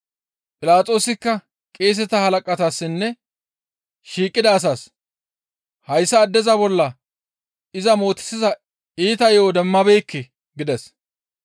Philaxoosikka qeeseta halaqatassinne shiiqida asaas, «Hayssa addeza bolla iza mootisiza iita yo7o demmabeekke» gides.